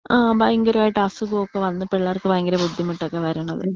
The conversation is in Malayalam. ആ ആ ഭയങ്കരായിട്ട് അസുഖംമൊക്കെ വന്ന് പിള്ളേർക്ക് ഭയങ്കര ബുദ്ധിമുട്ടൊക്കെ വരണത്.